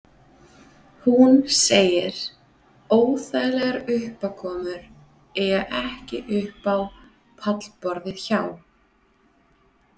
Hún segir: Óþægilegar uppákomur eiga ekki upp á pallborðið hjá